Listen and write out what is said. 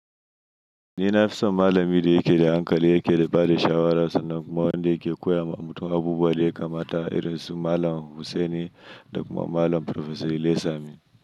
Ni nafi son malami da yake da hankali, yake da bada shawara, sannan kuma wanda yake koya ma mutum abubuwa da yake mata. Irin su Malam Hussaini da kuma Malam Farfesa Ilaysami.